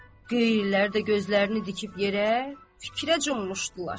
Qeyyilər də gözlərini dikib yerə, fikrə cummuşdular.